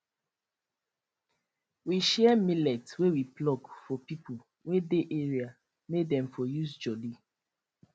we share millet wey we pluck for people wey dey area may dem for use jolly